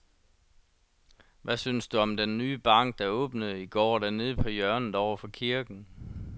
Hvad synes du om den nye bank, der åbnede i går dernede på hjørnet over for kirken?